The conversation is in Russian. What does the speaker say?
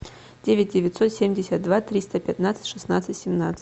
девять девятьсот семьдесят два триста пятнадцать шестнадцать семнадцать